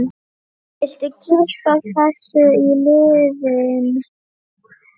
Viltu kippa þessu í liðinn?